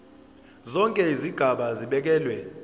zonke izigaba zibekelwe